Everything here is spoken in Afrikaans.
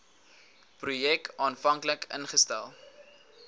projek aanvanklik ingestel